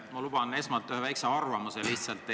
Ma luban esmalt endale ühe väikse arvamusavalduse.